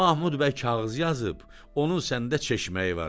Mahmud bəy kağız yazıb, onun səndə çeşməyi var.